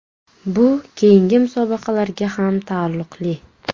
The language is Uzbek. Bu keyingi musobaqalarga ham taalluqli.